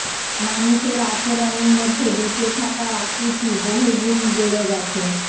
মানুষের আচরণের মধ্যে বেঁচে থাকার আকুতি বহুগুণ বেড়ে গেছে